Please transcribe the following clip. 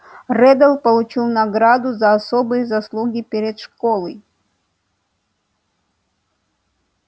реддл получил награду за особые заслуги перед школой